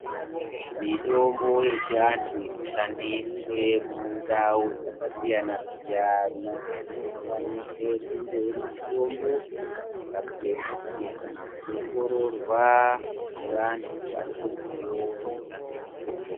Mitombo yechiantu inoshandiswe mundau dzakasiyana siyana inofanire kunge irimitombo yakapuwe mvumo kana kuongororwa ngeantu aneruziwo rekushandise mitombo .